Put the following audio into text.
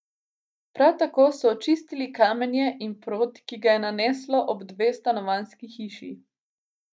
Prav tako so očistili kamenje in prod, ki ga je naneslo ob dve stanovanjski hiši.